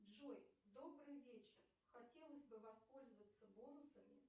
джой добрый вечер хотелось бы воспользоваться бонусами